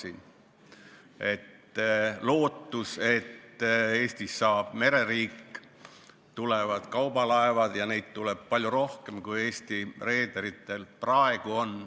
On lootust, et Eestist saab mereriik, siia tulevad kaubalaevad ja neid tuleb palju rohkem, kui Eesti reederitel on praegu.